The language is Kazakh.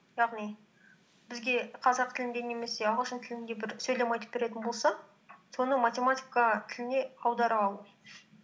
яғни бізге қазақ тілінде немесе ағылшын тілінде бір сөйлем айтып беретін болса соны математика тіліне аудара алу